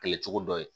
Kɛlɛ cogo dɔ ye